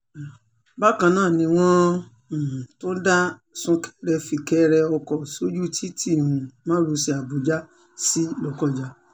bákan náà ni wọ́n um tún dá súnkẹrẹ-fìkẹrẹ ọkọ̀ sójú títí um márosẹ̀ àbújá sí lọ́kọ́já